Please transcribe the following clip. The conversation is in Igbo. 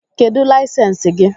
Kedu layisensi gị?